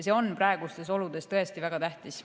See on praegustes oludes väga tähtis.